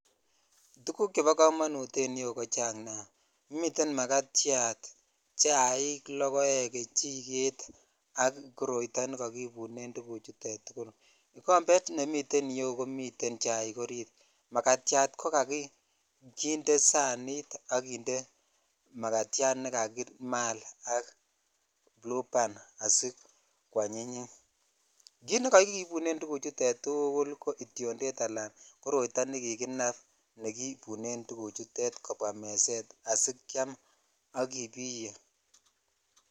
Tuguk chebo komonut en iyeu ko chang nia miten makatyat ,chaik ,lokoek ,kechiket ak koroito nekakibunen korotwechu ikombet nemiten yuu komiten chaik orit makatyat ko kokindee sanit ak kinde makatyat nekakimalen [cs[blueban asikwanyinyit kit nekakibunet chuton tukul ko kityonded aka koroito nekikinab kebune tukuchuton kobwa meset kiam ak ibiyee .